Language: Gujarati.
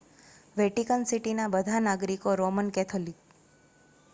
વેટિકન સિટીના બધા નાગરિકો રોમન કેથોલિક